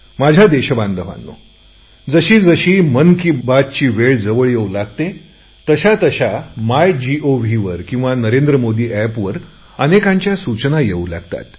माझ्या देशबांधवांनो जशी जशी मन की बातची वेळ जवळ येवू लागते तशा तशा माय गव्हवर अथवा नरेंद्र मोदी एपवर अनेकांच्याळ सूचना येऊ लागतात